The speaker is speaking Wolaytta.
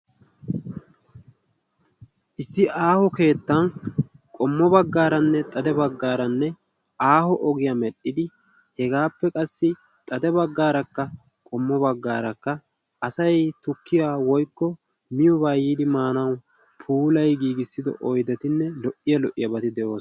Issi aaho keettan qommo baggaaranne xade baggaaranne aaho ogiyaa medhdhidi hegaappe qassi xade baggaarakka qommo baggaarakka asai tukkiya woikko miyuobaa yiidi maanau puulay giigissido oydatinne lo"iya lo"iyaabaati de'osona.